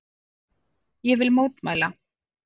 Ég vil mótmæla.